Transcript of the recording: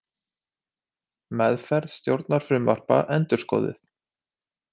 Meðferð stjórnarfrumvarpa endurskoðuð